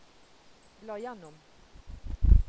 bla gjennom